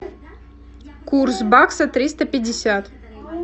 курс бакса триста пятьдесят